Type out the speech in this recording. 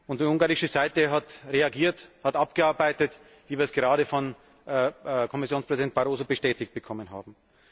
Die ungarische Seite hat reagiert, hat abgearbeitet, wie wir es gerade von Kommissionspräsident Barroso bestätigt bekommen haben.